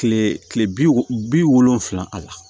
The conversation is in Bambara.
Kile kile bi wolon bi wolonfila a la